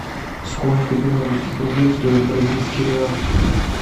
сколько белорусских рублей стоит бразильский реал